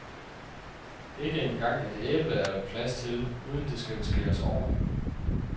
Ikke engang et æble er der plads til, uden det skal skæres over.